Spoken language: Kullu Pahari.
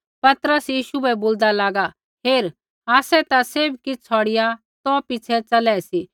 पतरस यीशु बै बोलदा लागा हेर आसै ता सैभ किछ़ छ़ौड़िआ तो पिछ़ै च़लै सी